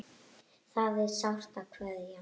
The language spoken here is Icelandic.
Það er sárt að kveðja.